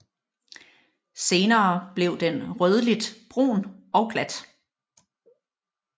Senere bliver den rødligt brun og glat